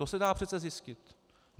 To se dá přece zjistit.